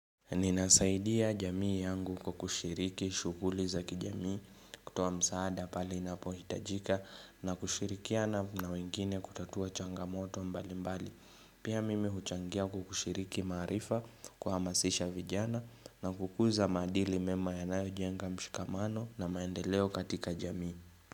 Ninasaidia jamii yangu kwakushiriki shuguli za kijamii kutuwa msaada pali inapo hitajika na kushirikiana na wengine kutatua changamoto mbali mbali. Pia mimi huchangia kukushiriki marifa kuhamasisha vijana na kukuza madili mema ya nayojenga mshikamano na maendeleo katika jamii.